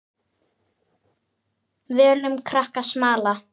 Völum krakkar smala.